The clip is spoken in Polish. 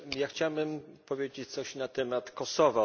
Chciałbym powiedzieć coś na temat Kosowa.